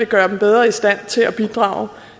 gøre dem bedre i stand til at bidrage